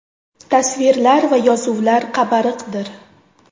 Tasvirlar va yozuvlar qabariqdir.